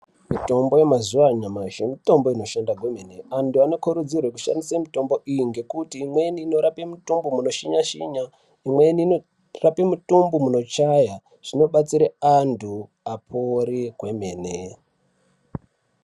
Mitombo yemazuwa anyamashi mitombo inoshanda kwemene antu anokurudzirwe kushandise mitombo iyi ngekuti imweni inorape mitumbu munoshinya shinya imweni inorape mitumbu munochaya. Zvinobatsira antu apore kwemene.